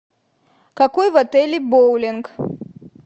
какой в отеле боулинг